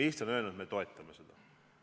Eesti on öelnud, et me toetame seda kava.